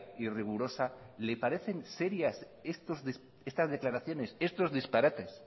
y rigurosa le parecen serias estas declaraciones estos disparates